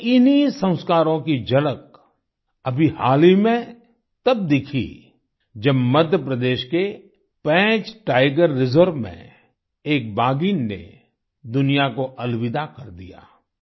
हमारे इन्ही संस्कारों की झलक अभी हाल ही में तब दिखी जब मध्यप्रदेश के पेंच टाइगर रिजर्व में एक बाघिन ने दुनिया को अलविदा कर दिया